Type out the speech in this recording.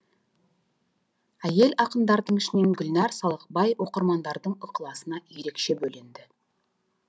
әйел ақындардың ішінен гүлнәр салықбай оқырмандардың ықыласына ерекше бөленді